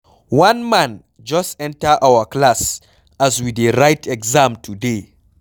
One man just enter our class as we dey write exam today.